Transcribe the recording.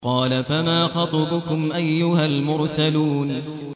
قَالَ فَمَا خَطْبُكُمْ أَيُّهَا الْمُرْسَلُونَ